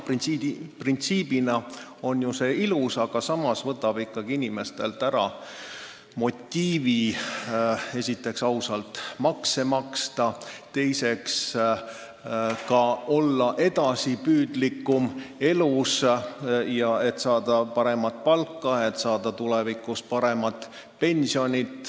Printsiibina on see ilus, aga samas võtab inimestelt ära motiivi esiteks ausalt makse maksta, teiseks olla elus edasipüüdlikum, et saada paremat palka ja tulevikus paremat pensioni.